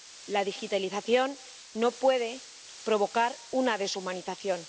La digitalización no puede provocar una deshumanización.